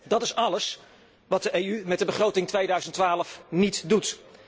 Dat is alles wat de EU met de begroting 2012 niet doet.